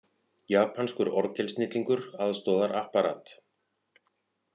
Japanskur orgelsnillingur aðstoðar Apparat